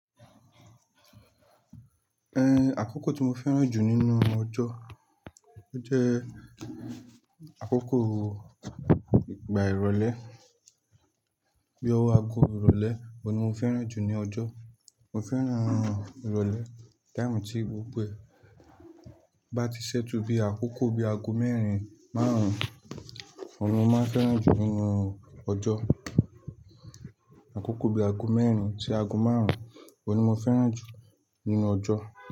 Àkókò tí mo fẹ́ràn jù nínú ọjọ́, ó jẹ́ àkókò ìgbà ìrọ̀lẹ́ bí i ọwọ́ aago ìrọ̀lẹ́, òun ni mo fẹ́ràn jù ní ọjọ́. Mo fẹ́ràn ìrọ̀lẹ́ taimu tí gbogbo ẹ bá ti ṣẹ́tu bí i àkókò bí i aago mẹ́rin máarun, òun ni mo máa fẹ́ràn jù nínú ọjọ́. Àkókò bí i aago mẹ́rin sí aago márùn-ún, òun ni mo fẹ́ràn jù nínú ọjọ́